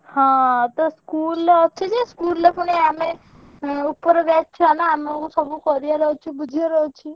ହଁ ତୁ school ରେ ଅଛୁ ଯେ school ରେ ପୁଣି ଆମେ ଏଁ ଉପର batch ଛୁଆନା ଆମୁକୁ ସବୁ କରିଆର ଅଛି ବୁଝିଆର ଅଛି।